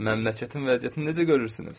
Məmləkətin vəziyyətini necə görürsünüz?